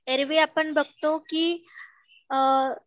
ऐरवी आपण बघतो की अ